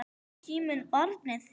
Er síminn barnið þitt?